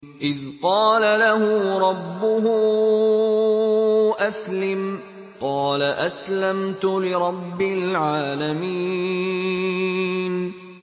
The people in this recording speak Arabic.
إِذْ قَالَ لَهُ رَبُّهُ أَسْلِمْ ۖ قَالَ أَسْلَمْتُ لِرَبِّ الْعَالَمِينَ